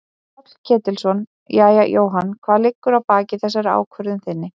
Páll Ketilsson: Jæja Jóhann hvað liggur að baki þessari ákvörðun þinni?